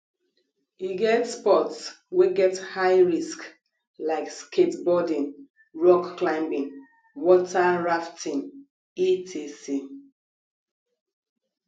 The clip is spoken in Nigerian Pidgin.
e get sports wey get high risk like skateboarding rock climbing water rafting etc